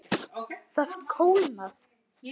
Það kólnar.